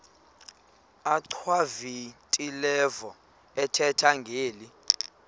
achwavitilevo ethetha ngeli